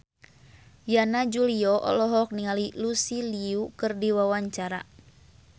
Yana Julio olohok ningali Lucy Liu keur diwawancara